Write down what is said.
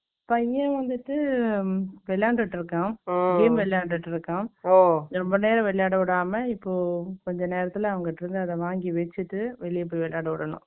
பையன் வந்துட்டு, விளையாண்டுட்டு இருக்கான். ம். Game விளையாண்டுட்டு இருக்கான் ரொம்ப நேரம் விளையாட விடாம, இப்போ, கொஞ்ச நேரத்திலே, அவங்ககிட்டே இருந்து, அதை வாங்கி வச்சிட்டு, வெளியே போய், விளையாட விடணும்